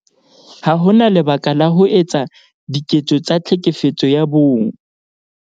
Ha ho na lebaka la ho etsa diketso tsa Tlhekefetso ya Bong